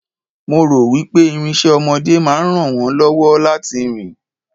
mo ro wipe irinse ọmọdé ma ran won lọwọ láti rìn